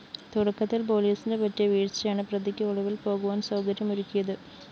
തുടക്കത്തില്‍ പോലീസിന് പറ്റിയ വീഴ്ചയാണ് പ്രതിക്ക് ഒളിവില്‍ പോകുവാന്‍ സൗകര്യമൊരുക്കിയത്